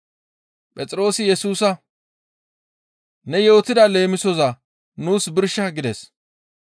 Phexroosi Yesusa, «Ne yootida leemisoza nuus birsha» gides.